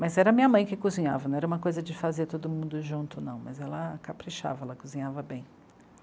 Mas era minha mãe que cozinhava, não era uma coisa de fazer todo mundo junto, não, mas ela caprichava, ela cozinhava bem.